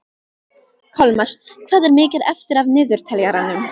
Kolmar, hvað er mikið eftir af niðurteljaranum?